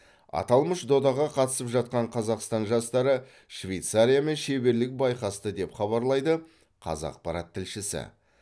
аталмыш додаға қатысып жатқан қазақстан жастары швейцариямен шеберлік байқасты деп хабарлайды қазақпарат тілшісі